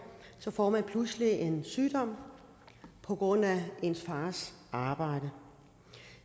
får man pludselig en sygdom på grund af ens fars arbejde